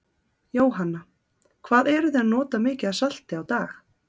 Jóhanna: Hvað eruð þið að nota mikið af salti á dag?